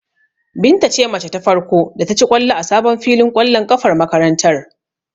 Binta ce mace ta farko da ta ci ƙwallo a sabon filin ƙwallon ƙafar makarantar.